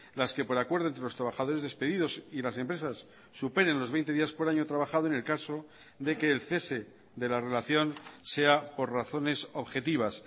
las que por acuerdo entre los trabajadores despedidos y las empresas superen los veinte días por año trabajado en el caso de que el cese de la relación sea por razones objetivas